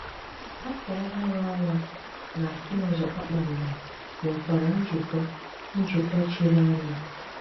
Áfọ Ọ̀hụrụ Ọnwà nà àkùnúzọ kpákpándò nwèkwàrà njíkọ̀ njíkọ̀ chírì ányà.